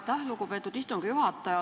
Aitäh, lugupeetud istungi juhataja!